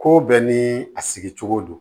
Ko bɛɛ ni a sigicogo don